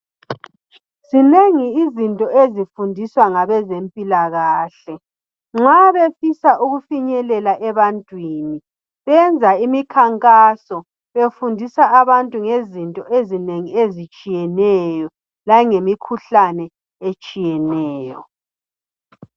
Zinengi izinto ezifundiswa ngabe zempilakahle, nxa befisa ukufinyelela ebantwini, benza imikhankaso befundisa abantu ngezinto ezinengi ezitshiyeneyo. Langemikhuhlane etshiyeneyo.